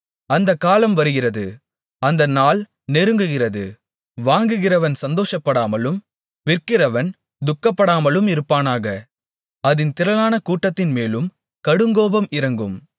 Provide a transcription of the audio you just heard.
அந்தக் காலம் வருகிறது அந்த நாள் நெருங்குகிறது வாங்குகிறவன் சந்தோஷப்படாமலும் விற்கிறவன் துக்கப்படாமலும் இருப்பானாக அதின் திரளான கூட்டத்தின்மேலும் கடுங்கோபம் இறங்கும்